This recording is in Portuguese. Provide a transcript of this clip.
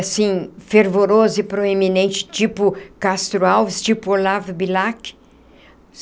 assim, fervoroso e proeminente, tipo Castro Alves, tipo Olavo Bilac.